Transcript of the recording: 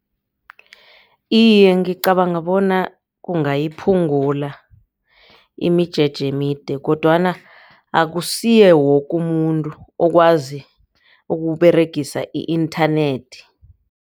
Iye, ngicabanga bona kungayiphungula imijeje emide kodwana akusuye woke umuntu okwazi ukuberegisa i-inthanethi.